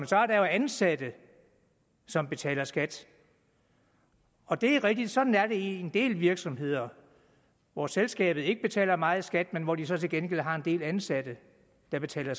så er der jo ansatte som betaler skat og det er rigtigt sådan er det i en del virksomheder hvor selskabet ikke betaler meget skat men hvor de så til gengæld har en del ansatte der betaler